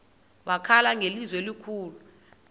wakhala ngelizwi elikhulu